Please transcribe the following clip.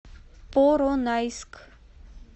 поронайск